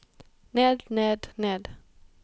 ned ned ned